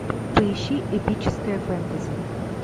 поищи эпическое фэнтези